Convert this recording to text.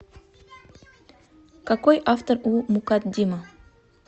какой автор у мукаддима